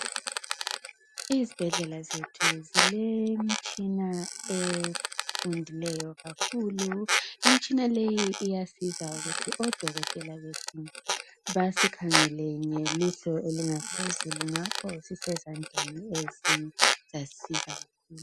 Ezibhedlela zethu, silemitshina efundileyo kakhulu. Imtshina leyi iyasiza ukuthi odokotela bethu basikhangele ngelihlo elingaphezulu ngakho sisezandleni ezisisiza kakhulu.